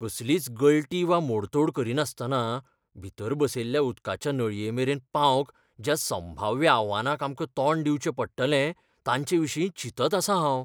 कसलीच गळटी वा मोडतोड करिनासतना भितर बसयल्ल्या उदकाच्या नळयेमेरेन पावंक ज्या संभाव्य आव्हानांक आमकां तोंड दिवचें पडटलें तांच्याविशीं चिंतत आसां हांव.